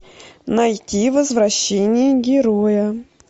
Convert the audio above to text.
найти возвращение героя